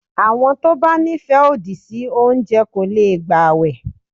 Àwọn tó bá ní ìfẹ́ òdì sí oúnjẹ kò lè gbàwẹ̀.